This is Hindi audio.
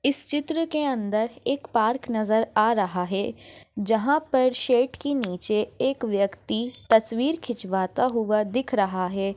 इस चित्र के अंदर एक पार्क नजर आ रहा है जहा पर शेड की नीचे एक व्यक्ति तस्वीर खिचवाता हुआ दिख रहा है।